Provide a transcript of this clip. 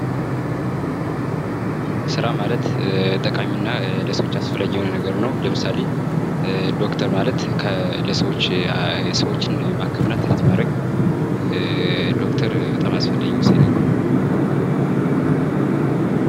ስራ ማለት ጠቃሚና ለሰወች አስፈላጊ የሆነ ነገር ነው። ለምሳሌ፦ ዶክተር ማለት ሰወችን ማከምና ትሪት ማድረግ...እ... ዶክተር በጣም አስፈላጊና ወሳኝ ነገር ነው።